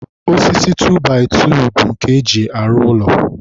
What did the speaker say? osisi 2by2 bụ nke e ji arụ ụlọ..